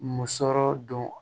Musɔrɔ don